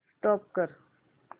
stop करा